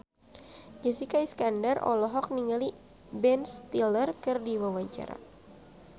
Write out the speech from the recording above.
Jessica Iskandar olohok ningali Ben Stiller keur diwawancara